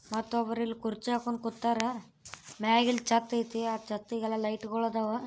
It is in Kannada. ಮತೊಬ್ಬರ ಇಲ್ ಕುರ್ಚಿ ಹಾಕೊಂಡ ಕುತ್ತಾರ. ಮ್ಯಾಗ್ ಇಲ್ ಛತ್ ಐತಿ. ಆ ಛತ್ತಿಗೆಲ್ಲ ಲೈಟ್ ಗೊಳ್ ಅದಾವ.